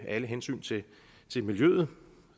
alle hensyn til til miljøet